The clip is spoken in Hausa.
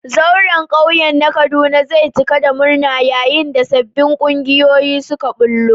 Zauren kauye na Kaduna zai cika da murna yayin da sabbin kungiyoyi suka bullo.